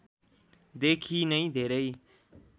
देखि नै धेरै